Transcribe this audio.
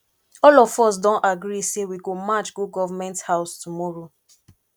all of us don agree say we go march go government house tomorrow